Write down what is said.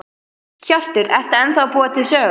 Hjörtur: Ertu ennþá að búa til sögur?